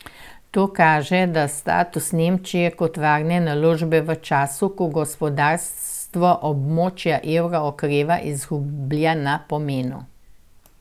To kaže, da status Nemčije kot varne naložbe v času, ko gospodarstvo območja evra okreva, izgublja na pomenu.